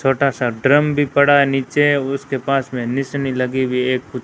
छोटा सा ड्रम भी पढ़ा है नीचे उसके पास वेनि सेनी लगी हुई है।